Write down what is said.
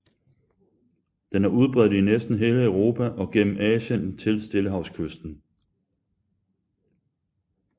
Den er udbredt i næsten hele Europa og gennem Asien til stillehavskysten